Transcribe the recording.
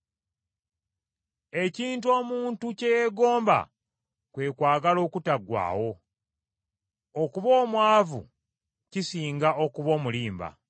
Ekintu omuntu kye yeegomba kwe kwagala okutaggwaawo, okuba omwavu kisinga okuba omulimba.